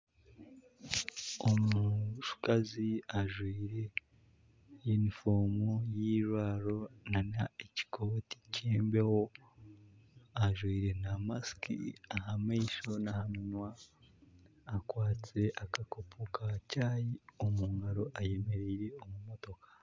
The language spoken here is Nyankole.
Omukazi ajwire yunifomu y'eirwaro n'ekikoti kyembeho ajwire na masiki aha maisho naha munwa akwatsire akakopo ka chayi omu ngaro ayemereire omu motoka.